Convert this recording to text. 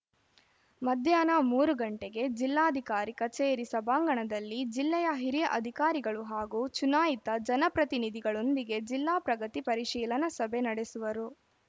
ಮಧ್ಯಾಹ್ನ ಮೂರು ಗಂಟೆಗೆ ಜಿಲ್ಲಾಧಿಕಾರಿ ಕಚೇರಿ ಸಭಾಂಗಣದಲ್ಲಿ ಜಿಲ್ಲೆಯ ಹಿರಿಯ ಅಧಿಕಾರಿಗಳು ಹಾಗೂ ಚುನಾಯಿತ ಜನಪ್ರತಿನಿಧಿಗಳೊಂದಿಗೆ ಜಿಲ್ಲಾ ಪ್ರಗತಿ ಪರಿಶೀಲನಾ ಸಭೆ ನಡೆಸುವರು